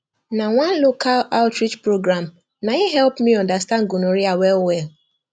na one local outreach program naim help me understand gonorrhea well well